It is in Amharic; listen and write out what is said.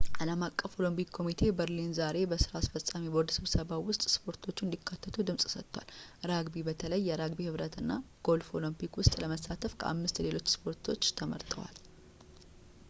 ዓለም አቀፉ ኦሎምፒክ ኮሚቴ በርሊን ዛሬ በሥራ አስፈፃሚ ቦርድ ስብሰባው ውስጥ ሰፖርቶቹ እንዲካተት ድምፅ ሰጥቷል ራግቢ በተለይም የራግቢ ኅብረት እና ጎልፍ በኦሎምፒክ ውስጥ ለመሳተፍ ከአምስት ሌሎች ስፖርቶች ተመርጠዋል